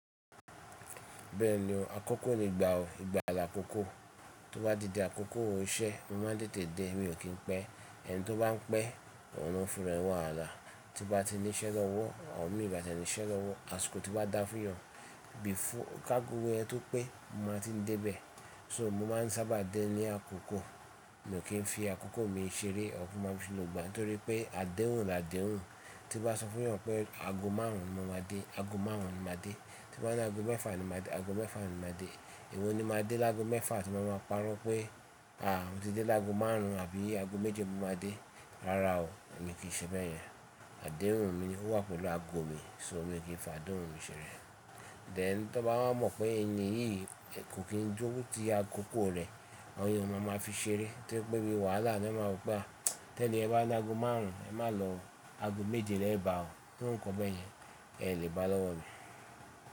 Bẹ́ẹ̀ni o. Àkókò ni ìgbà ọ̀, ìgbà àlà oko tó bá di dé àkókò iṣẹ́, mo máa ń tètè dé. Èmi ò kí n pẹ́ ẹni tó bá ń pẹ́, ọ̀hun ló ń fún ẹra ẹ̀ ní wàhálà. Tí ń bá ti ní iṣẹ́ lọ́wọ́, àwọn mi nba tiẹ ni iṣẹ́ lọ́wọ́. Àsìkò tí ó bá dá fún ènìyàn, bí i fún kí ago ẹ tó pé mo máa ti dé bẹ́ẹ̀. So mo máa ń sábà dé ní àkókò, mi o kí n fi àkókò mi ṣeré ọ̀fun máa ṣi nù gbà. Torí pé àdéhùn làdéhùn. Tí mo bá sọ fún yàn pé ago márùn ún ni mo máa dé, ago márùn ún ni mo máa dé. Tí o bá ná ago mẹ́fà ni mo máa dé, ago mẹ́fà ni mo máa dé. Ẹ̀wọ̀n ni mo máa dé lágo mẹ́fà tí mo máa parọ́ pé, àá o ti dé lágo márùn ún àbí ago méjì mo máa dé. Rárá o, èmi kì í ṣe bẹ́ẹ̀ yẹn. Àdéhùn mi wà pẹ̀lú ago mi, so èmi kì í fà adéhùn mi ṣeré. Then tán bá mọ̀ pé ẹni yìí kò kí ń jókòó ti àkókò rẹ̀, Àwọn ènìyàn ó máa ma fi ṣeré. Torí pé bí i wàhálà ni ó máa mọ̀ pé tí eniyen bá ní ago márùn ún, ẹ má lọ ago méje rẹ bá o. Irú ǹkan bẹ́ẹ̀ yẹn, ẹ lè bá lọ́wọ́ mi.